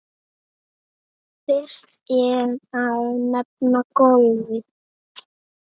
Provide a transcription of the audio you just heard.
Fyrst er að nefna golfið.